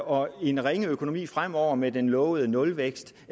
og en ringe økonomi fremover med den lovede nulvækst